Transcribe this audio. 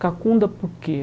Cacunda por quê?